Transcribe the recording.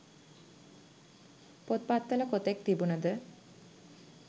පොත්පත්වල කොතෙක් තිබුණද